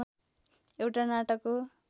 एउटा नाटक हो